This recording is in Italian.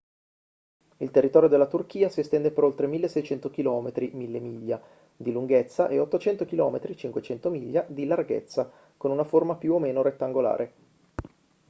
il territorio della turchia si estende per oltre 1.600 km 1.000 miglia di lunghezza e 800 km 500 miglia di larghezza con una forma più o meno rettangolare